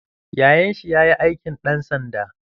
Yayan shi ya yi aikin ɗan sanda.